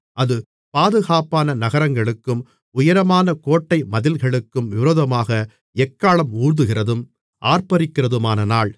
அது பாதுகாப்பான நகரங்களுக்கும் உயரமான கோட்டைமதில்களுக்கும் விரோதமாக எக்காளம் ஊதுகிறதும் ஆர்ப்பரிக்கிறதுமான நாள்